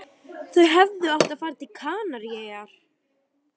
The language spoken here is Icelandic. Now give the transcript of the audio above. Þau hefðu átt að fara til Kanaríeyja.